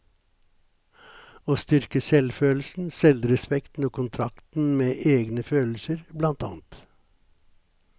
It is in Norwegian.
Å styrke selvfølelsen, selvrespekten og kontakten med egne følelser, blant annet.